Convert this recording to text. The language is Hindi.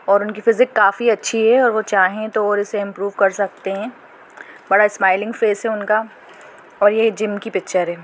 और इनकी फिज़िक काफी अच्छी है और वो कहे तो उनको इम्प्रूव कर सकते है बड़ा स्माइलिंग सेफ है उनका और ये जिम की पिक्चर है।